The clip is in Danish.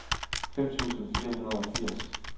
fem tusind fire hundrede og firs